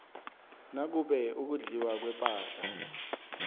nakube ukudliwa kwepahla